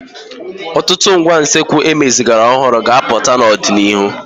Ọtụtụ ngwá usekwu emezigharịrị ọhụrụ ga-apụta n'ọdịnihu.